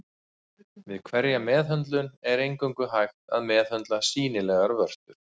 Við hverja meðhöndlun er eingöngu hægt að meðhöndla sýnilegar vörtur.